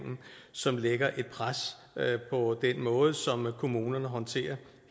som lægger et pres på den måde som kommunerne håndterer